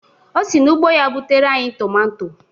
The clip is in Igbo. O si n'ugbo ya butere anyị tomato